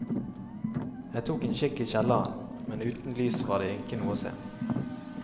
Jeg tok en kikk i kjelleren, men uten lys var det ikke noe å se.